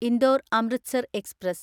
Indore Amritsar express